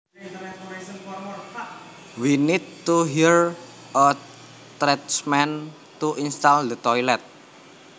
We need to hire a tradesman to install the toilet